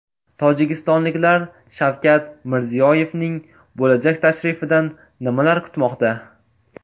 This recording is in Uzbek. Tojikistonliklar Shavkat Mirziyoyevning bo‘lajak tashrifidan nimalar kutmoqda?.